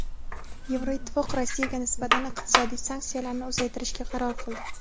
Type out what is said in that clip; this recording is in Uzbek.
Yevroittifoq Rossiyaga nisbatan iqtisodiy sanksiyalarni uzaytirishga qaror qildi.